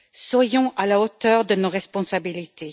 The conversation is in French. Soyons à la hauteur de nos responsabilités.